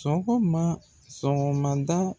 Sɔgɔma sɔgɔmada